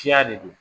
Ciya de don